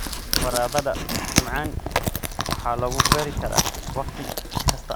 Baradhada macaan waxaa lagu beeri karaa wakhti kasta.